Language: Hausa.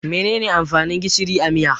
Mene ne amfanin gishiri a miya?